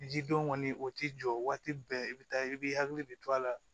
Ji don kɔni o ti jɔ waati bɛɛ i bɛ taa i b'i hakili de to a la